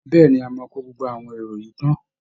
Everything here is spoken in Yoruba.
Bẹ́ẹ̀ ni, a máa kó gbogbo àwọn èrò yìí tán